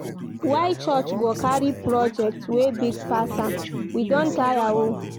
Why church go carry project wey big pass am? We don tire o.